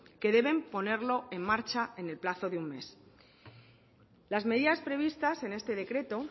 que deben ponerlo en marcha en el plazo de un mes las medidas previstas en este decreto